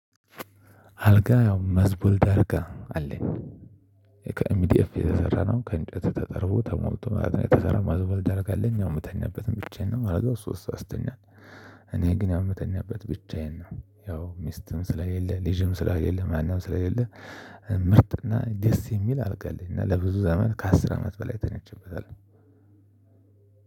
አልጋ ያው መዝቦል ዳርጋ አለኝ ከኤምዲኤፍ የተሰራ ነው ከእንጨት ተጠርቦ ተሞልቶ ማለት ነው የተሰራ መዝቦልድ አልጋ አለኝ ያው እምተኛበትም ብቻዬን ነው አልጋው ሶስት ሰው ያስተኛል። እኔ ግን ያው እምተኛበት ብቻዬን ነው ያው ሚስትም ስለሌለ ልጅም ስለሌለ ማንም ስለሌለ። ምርጥና ደስ የሚል አልጋ አለኝ እና ለብዙ ዘመን ከአስር አመት በላይ ተኝቸበታለሁ።